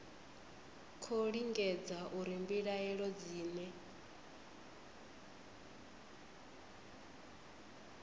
khou lingedza uri mbilaelo dzine